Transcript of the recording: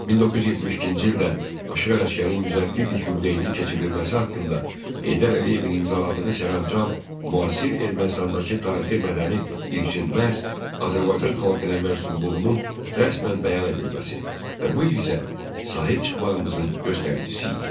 1972-ci ildə Aşıq Ələsgərin 150 illik yubileyinin keçirilməsi haqqında Heydər Əliyevin imzaladığı sərəncam müasir Ermənistandakı tarixi mədəni irsin məhz Azərbaycan xalqına mənsubluğunun rəsmən bəyan edilməsi və bu irsə sahib çıxmağımızın göstəricisi idi.